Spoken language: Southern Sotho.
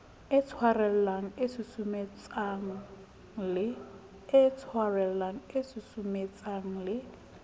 e tshwarellang e susumetsang le